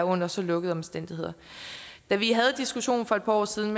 under så lukkede omstændigheder da vi havde diskussionen for et par år siden